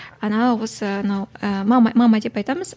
ана осы ыыы анау ы мама мама деп айтамыз